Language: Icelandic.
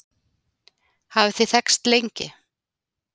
hafið þið þekkst lengi